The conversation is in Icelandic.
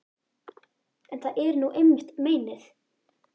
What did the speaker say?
En það er nú einmitt meinið.